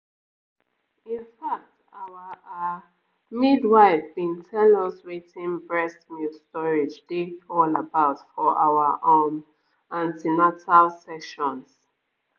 in fact our ah midwife been tell us wetin breast milk storage dey all about for our um an ten atal sessions